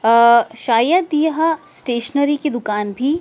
अह्ह्ह्ह शायद यहा स्टेशनरी की दुकान भी--